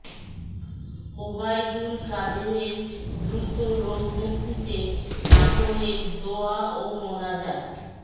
ওবায়দুল কাদেরের দ্রুত রোগ মুক্তিতে নাটোরে দোয়া ও মোনাজাত